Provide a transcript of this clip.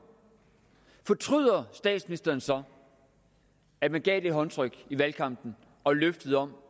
fortryder statsministeren så at man gav det håndtryk i valgkampen og løftet om